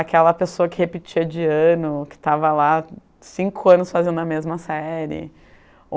Aquela pessoa que repetia de ano, que estava lá cinco anos fazendo a mesma série.